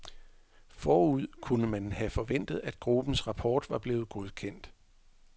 Forud kunne man have forventet, at gruppens rapport var blevet godkendt.